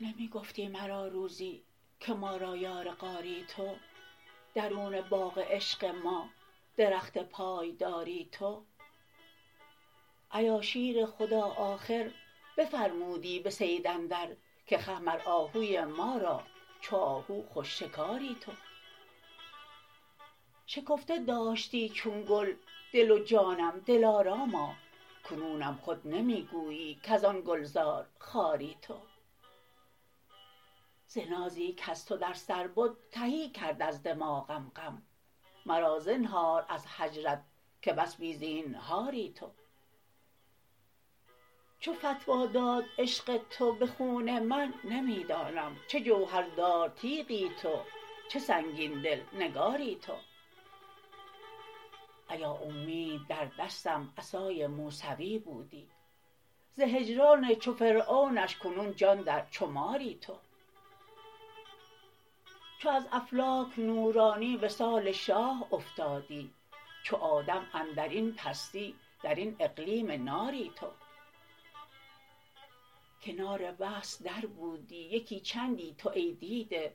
نمی گفتی مرا روزی که ما را یار غاری تو درون باغ عشق ما درخت پایداری تو ایا شیر خدا آخر بفرمودی به صید اندر که خه مر آهوی ما را چو آهو خوش شکاری تو شکفته داشتی چون گل دل و جانم دلاراما کنونم خود نمی گویی کز آن گلزار خاری تو ز نازی کز تو در سر بد تهی کرد از دماغم غم مرا زنهار از هجرت که بس بی زینهاری تو چو فتوی داد عشق تو به خون من نمی دانم چه جوهردار تیغی تو چه سنگین دل نگاری تو ایا اومید در دستم عصای موسوی بودی ز هجران چو فرعونش کنون جان در چو ماری تو چو از افلاک نورانی وصال شاه افتادی چو آدم اندر این پستی در این اقلیم ناری تو کنار وصل دربودی یکی چندی تو ای دیده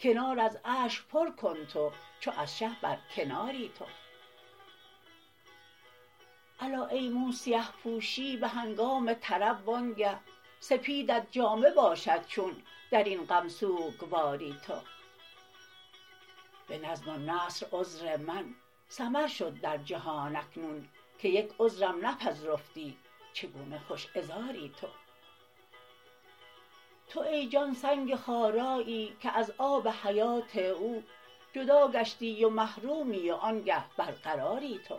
کنار از اشک پر کن تو چو از شه برکناری تو الا ای مو سیه پوشی به هنگام طرب وآنگه سپیدت جامه باشد چون در این غم سوگواری تو به نظم و نثر عذر من سمر شد در جهان اکنون که یک عذرم نپذرفتی چگونه خوش عذاری تو تو ای جان سنگ خارایی که از آب حیات او جدا گشتی و محرومی وآنگه برقراری تو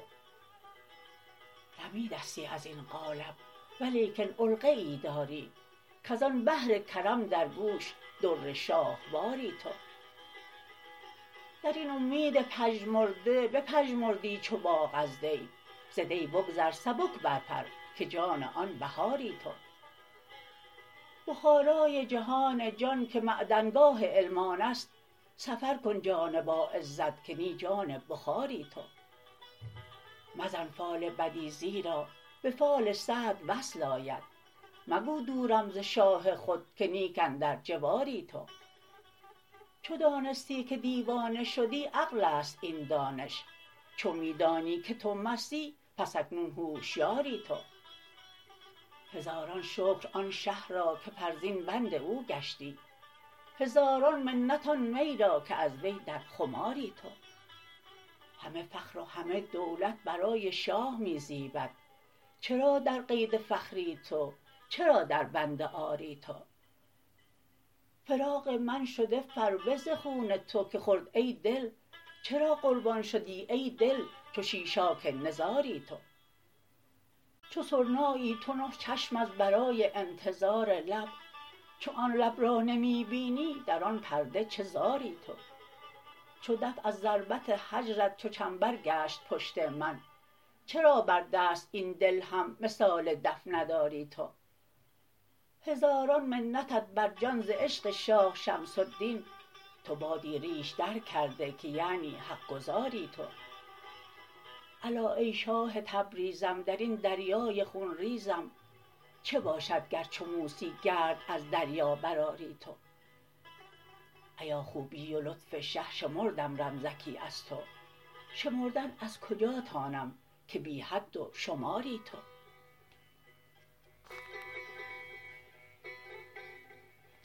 رمیدستی از این قالب ولیکن علقه ای داری کز آن بحر کرم در گوش در شاهواری تو در این اومید پژمرده بپژمردی چو باغ از دی ز دی بگذر سبک برپر که نی جان بهاری تو بخارای جهان جان که معدنگاه علم آن است سفر کن جان باعزت که نی جان بخاری تو مزن فال بدی زیرا به فال سعد وصل آید مگو دورم ز شاه خود که نیک اندر جواری تو چو دانستی که دیوانه شدی عقل است این دانش چو می دانی که تو مستی پس اکنون هشیاری تو هزاران شکر آن شه را که فرزین بند او گشتی هزاران منت آن می را که از وی در خماری تو همه فخر و همه دولت برای شاه می زیبد چرا در قید فخری تو چرا دربند عاری تو فراق من شده فربه ز خون تو که خورد ای دل چرا قربان شدی ای دل چو شیشاک نزاری تو چو سرنایی تو نه چشم از برای انتظار لب چو آن لب را نمی بینی در آن پرده چه زاری تو چو دف از ضربت هجرت چو چنبر گشت پشت من چرا بر دست این دل هم مثال دف نداری تو هزاران منتت بر جان ز عشق شاه شمس الدین تو بادی ریش درکرده که یعنی حق گزاری تو الا ای شاه تبریزم در این دریای خون ریزم چه باشد گر چو موسی گرد از دریا برآری تو ایا خوبی و لطف شه شمردم رمزکی از تو شمردن از کجا تانم که بی حد و شماری تو